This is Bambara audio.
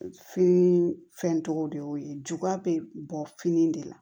Fini fɛn tɔgɔ de y'o ye juguya bɛ bɔ fini de la